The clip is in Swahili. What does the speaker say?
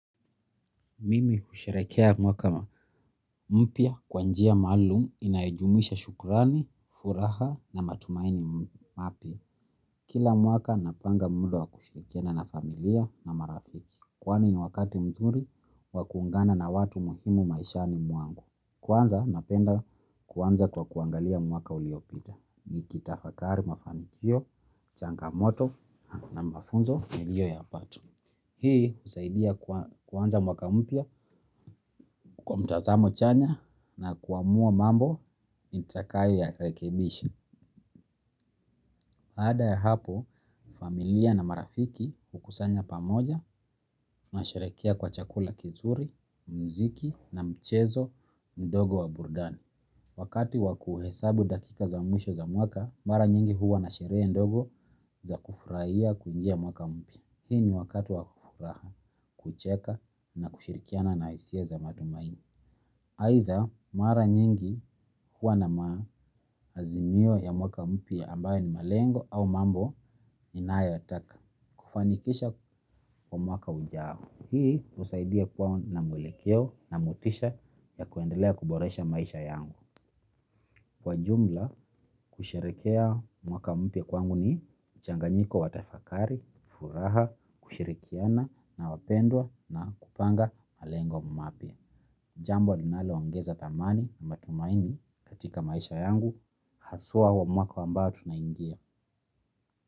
Mimi husharekea mwaka mpya kwanjia malumu inaejumisha shukurani, furaha na matumaini mapya. Kila mwaka napanga muda wa kusharikiana na familia na marafiki. Kwani ni wakati mzuri wa kuungana na watu muhimu maisha ni mwangu. Kwanza napenda kwanza kwa kuangalia mwaka uliopita. Nikitafakari mafanikio changamoto na mafunzo niliyoyapata hii husaidia kuanza mwaka mpya kwa mtazamo chanya na kuamua mambo nitakayo rekebisha baada ya hapo, familia na marafiki kukusanya pamoja na sherekea kwa chakula kizuri, muziki na mchezo ndogo wa burudani. Wakati wakuhesabu dakika za mwisho za mwaka, mara nyingi huwa na sherehe ndogo za kufurahia kuingia mwaka mpya. Hii ni wakati wa kufuraha, kucheka na kushirikiana na hisia za matumaini. Aidha mara nyingi huwa na maazimio ya mwaka mpya ambayo ni malengo au mambo ninayo yataka. Kufanikisha kwa mwaka ujao. Hii usaidia kuwa na mwelekeo na motisha ya kuendelea kuboresha maisha yangu. Kwaajumla kusherekea mwaka mpya kwangu ni mchanganyiko watafakari, furaha, kushirikiana na wapendwa na kupanga malengo mapya. Jambo linalo ongeza thamani na mtaumaini katika maisha yangu. Haswa huo mwaka ambao tunaingia.